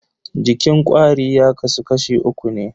Jikin kwari ya kasu kashi uku ne.